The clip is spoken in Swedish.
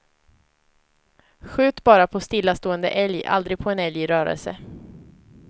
Skjut bara på stillastående älg, aldrig på en älg i rörelse.